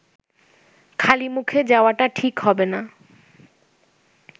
খালিমুখে যাওয়াটা ঠিক হবে না